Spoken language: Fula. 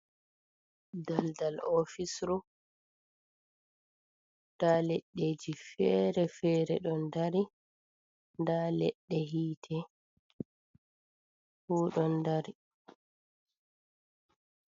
Daldal ofisru nda leɗɗe ji fere-fere ɗon dari, nda leɗɗe yite fu ɗon dari.